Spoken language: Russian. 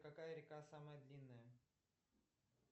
какая река самая длинная